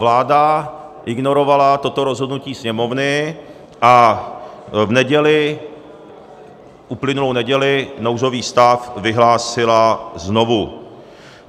Vláda ignorovala toto rozhodnutí Sněmovny a v neděli, uplynulou neděli, nouzový stav vyhlásila znovu.